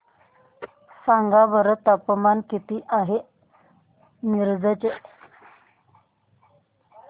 सांगा बरं तापमान किती आहे मिरज चे